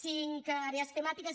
cinc àrees temàtiques